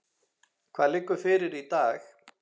Hvað liggur fyrir í dag?